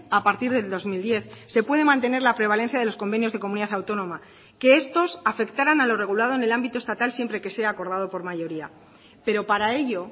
a partir del dos mil diez se puede mantener la prevalencia de los convenios de comunidad autónoma que estos afectaran a lo regulado en el ámbito estatal siempre que sea acordado por mayoría pero para ello